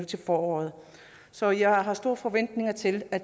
til foråret så jeg har store forventninger til at